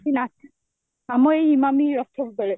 କି ନା, ଆମ ଏଇ ଇମାମି ରଥ ବେଳେ